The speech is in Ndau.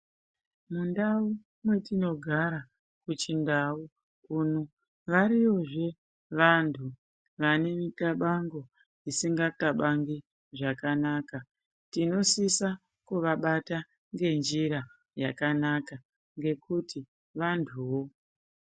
Mundau mwetinogara kuchindau uno variyozve vanhu vanemithabango isinga thabangi zvakanaka tinosisa kuvabata ngenjira yakanaka ngekuti vantuwo.